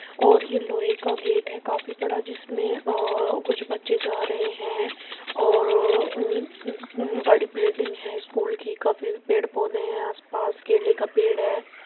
और ये लोहे का गेट हैं। काफी बड़ा जिसमें कुछ बच्चें जां रहें हैं और बड़ी बिल्डिंग हैं। स्कूल की काफी पेड़ पौधें हैं। आसपास केले का पेड़ हैं।